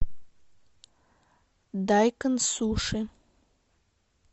дайкон суши